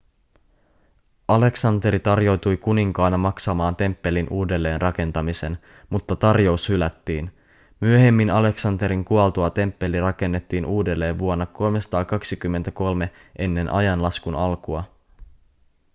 aleksanteri tarjoutui kuninkaana maksamaan temppelin uudelleenrakentamisen mutta tarjous hylättiin myöhemmin aleksanterin kuoltua temppeli rakennettiin uudelleen vuonna 323 eaa